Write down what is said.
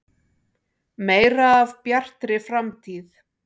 Meira af Bjartri framtíð.